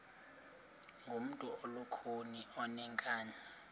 ngumntu olukhuni oneenkani